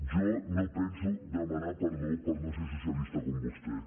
jo no penso demanar perdó per no ser socialista com vostè